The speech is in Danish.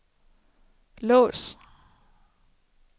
lås